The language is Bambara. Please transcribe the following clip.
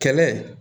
Kɛlɛ